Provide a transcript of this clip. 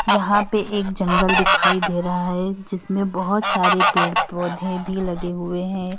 यहां पे एक जंगल दिखाई दे रहा है जिसमें बहोत सारे पेड़ पौधे भी लगे हुए हैं।